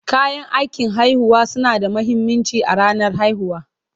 Kayan aikin haihuwa suna da mahimmanci a ranar haihuwa.